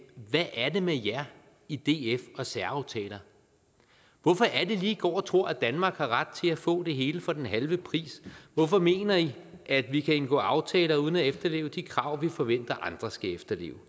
hvad er det med jer i df og særaftaler hvorfor er det lige at i går og tror at danmark har ret til at få det hele for den halve pris hvorfor mener i at vi kan indgå aftaler uden at efterleve de krav vi forventer andre skal efterleve